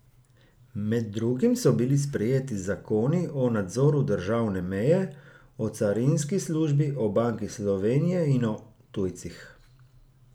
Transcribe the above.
Med drugim so bili sprejeti zakoni o nadzoru državne meje, o carinski službi, o Banki Slovenije in o tujcih.